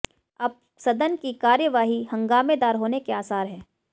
अब सदन की कार्यवाही हंगामेदार होने के आसार हैं